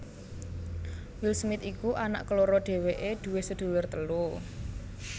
Will Smith iku anak keloro dhéwéké duwé sedulur telu